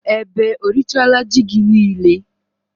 Ebe o rịchala ji gị niile?